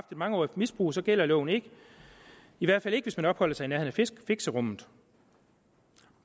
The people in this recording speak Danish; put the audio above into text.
mangeårigt misbrug så gælder loven ikke i hvert fald ikke hvis man opholder sig i nærheden af fixerummet